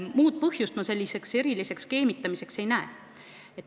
Muud põhjust ma selliseks skeemitamiseks ei näe.